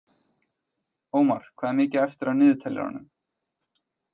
Ómar, hvað er mikið eftir af niðurteljaranum?